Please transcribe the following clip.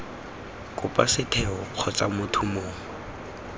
kopa setheo kgotsa motho mongwe